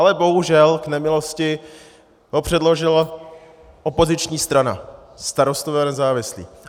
Ale bohužel v nemilosti ho předložila opoziční strana, Starostové a nezávislí.